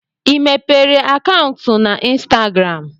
I mepere akaụntụ na Instagram?